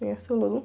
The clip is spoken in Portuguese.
Conhece o Olodum?